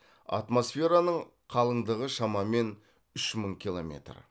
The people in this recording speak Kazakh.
атмосфераның қалыңдығы шамамен үш мың километр